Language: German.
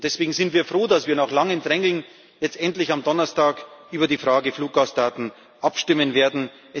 Deswegen sind wir froh, dass wir nach langem Drängen jetzt endlich am Donnerstag über die Frage der Fluggastdaten abstimmen werden.